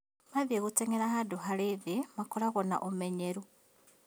Mathiĩ gũteng'era handũ harĩ thĩĩ makoragwo na ũmenyeru